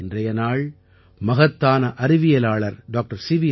இன்றைய நாள் மகத்தான அறிவியலாளர் டாக்டர் சி